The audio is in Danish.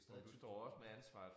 Det stadig 1000 kroner